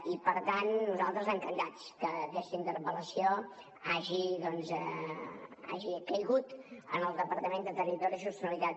i per tant nosaltres encantats que aquesta interpel·lació hagi caigut en el departament de territori i sostenibilitat